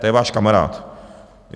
To je váš kamarád!